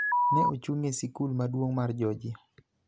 ne ochung� e sikul maduong� mar Georgia